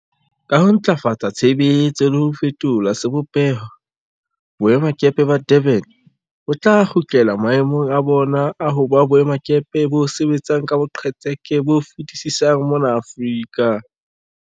Ka ho ntlafatsa tshebetso le ho fetola sebopeho, boemakepe ba Durban bo tla kgutlela mae mong a bona a ho ba boemakepe bo sebetsang ka boqetseke bo fetisisang mona Aforika.